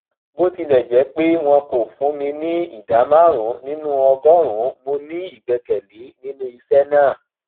bó tilẹ jẹ pé wọn kò fún mi ní ìdá márùnún nínú ọgọrùnún mo ní ìgbẹkẹlé nínú iṣẹ náà